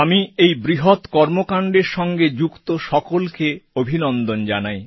আমি এই বৃহৎ কর্মকাণ্ডের সঙ্গে যুক্ত সকলকে অভিনন্দন জানাই